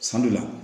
San dɔ la